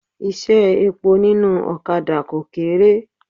Iṣẹ́ epo nínú ọ̀kadà kò kéré.